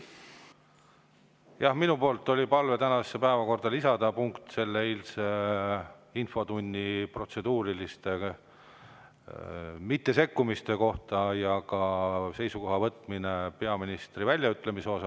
Jah, mul oli palve lisada tänasesse päevakorda punkt protseduurilist mittesekkumist eilses infotunnis ja võtta seisukoht peaministri väljaütlemise suhtes.